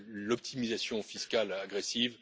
l'optimisation fiscale agressive.